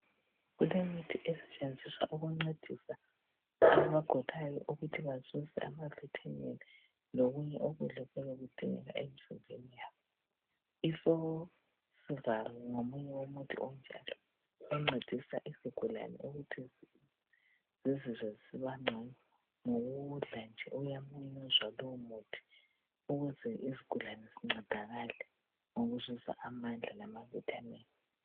kulemithi esetshenziswa ukuncedisa abagulayo ukuthi bezuze ama vitamin lokunye okuyabe kudingeka emzimbeni yabo i forceval ngomunye womuthi onjalo oncedisa izigulane ukuthi zizizwe zisibancono ngokuwudla nje uyamumuzwa lowo muthi ukuze izigulane zincedakale ngokuzuza amandla lama vitamin